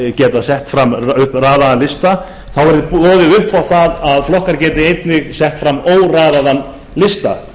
geti sett fram raðaða lista sé boðið upp á það að flokkar geti einnig sett fram óraðaðan lista